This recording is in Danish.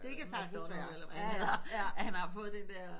Det kan sagtens være ja ja ja